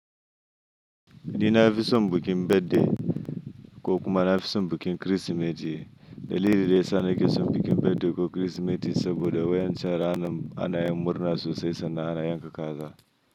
Ni na fi son bikin birthday, ko kuma na fi son bikin Kirsimeti, dalili dayasa na keson bikin birthday ko Kirsimeti saboda waƴancan ranan ana yin murna sosai sannan ana yanka kaza.